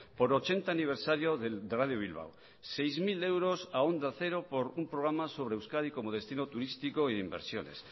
por ochenta aniversario de radio bilbao seis mil euros a onda cero por un programa sobre euskadi como destino turístico y de inversiones